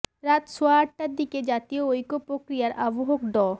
রাত সোয়া আটটার দিকে জাতীয় ঐক্য প্রক্রিয়ার আহ্বায়ক ড